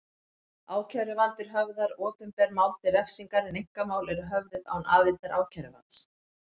Ákæruvaldið höfðar opinber mál til refsingar en einkamál eru höfðuð án aðildar ákæruvalds.